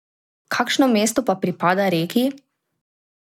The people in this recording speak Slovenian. Kakšno mesto pa pripada Reki?